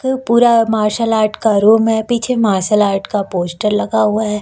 ये पूरा martial art का रूम है पीछे मार्शल आर्ट का पोस्टर लगा हुआ है।